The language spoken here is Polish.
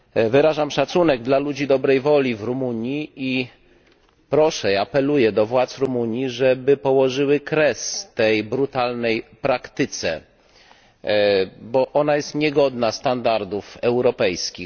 Wyrażam szacunek dla ludzi dobrej woli w Rumunii i apeluję do władz Rumunii, żeby położyły kres tej brutalnej praktyce, bo jest ona niegodna standardów europejskich.